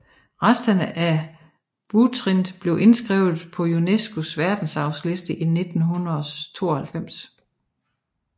Resterne af Butrint blev indskrevet på UNESCOs Verdensarvsliste i 1992